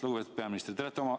Lugupeetud peaminister!